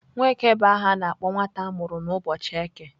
Nweke bu aha a na-akpo nwata amuru n'uboọchi eke.